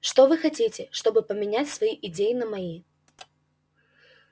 что вы хотите чтобы поменять свои идеи на мои